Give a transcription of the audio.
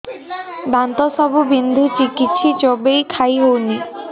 ଦାନ୍ତ ସବୁ ବିନ୍ଧୁଛି କିଛି ଚୋବେଇ ଖାଇ ହଉନି